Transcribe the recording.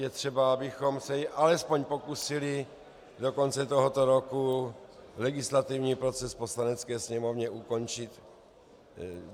Je třeba, abychom se alespoň pokusili do konce tohoto roku legislativní proces v Poslanecké sněmovně ukončit.